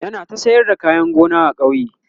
yana ta sayar da kayan gona a kauye